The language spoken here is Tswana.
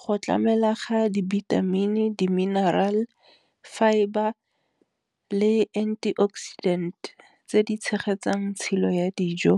Go tlamela ga dibithamini, di-mineral, fibre le anti oxidant tse di tshegetsang tshilo ya dijo,